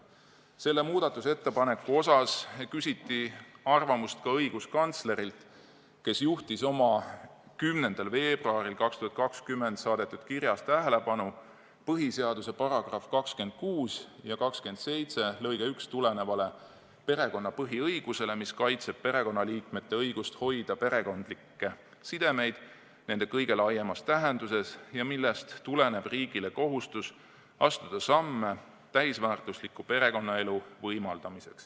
Selle muudatusettepaneku kohta küsiti arvamust ka õiguskantslerilt, kes juhtis oma 10. veebruaril 2020 saadetud kirjas tähelepanu põhiseaduse § 26 ja § 27 lõikest 1 tulenevale perekonna põhiõigusele, mis kaitseb perekonnaliikmete õigust hoida perekondlikke sidemeid nende kõige laiemas tähenduses ja millest tuleneb riigile kohustus astuda samme täisväärtusliku perekonnaelu võimaldamiseks.